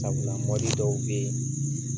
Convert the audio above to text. Sabula dɔw bɛ yen